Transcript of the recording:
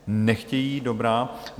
Nechtějí, dobrá.